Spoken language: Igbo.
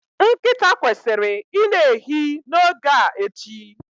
Nkịta kwesịrị i na-ehi n'oge a echi